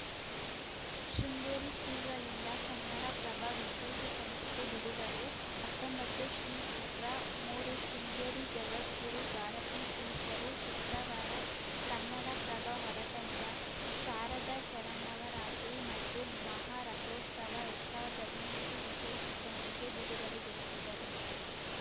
ಶೃಂಗೇರಿ ಶ್ರೀಗಳಿಂದ ಕನ್ನಡ ಪ್ರಭ ವಿಶೇಷ ಸಂಚಿಕೆ ಬಿಡುಗಡೆ ಹತ್ತೊಂಬತ್ತು ಶ್ರೀ ಚಿತ್ರಮೂರು ಶೃಂಗೇರಿ ಜಗದ್ಗುರು ಭಾರತೀತೀರ್ಥರು ಶುಕ್ರವಾರ ಕನ್ನಡಪ್ರಭ ಹೊರತಂದ ಶಾರದಾ ಶರನ್ನವರಾತ್ರಿ ಮತ್ತು ಮಹಾರಥೋತ್ಸವ ಎರಡ್ ಸಾವಿರ್ದಾ ಹದಿನೆಂಟು ವಿಶೇಷ ಸಂಚಿಕೆ ಬಿಡುಗಡೆಗೊಳಿಸಿದರು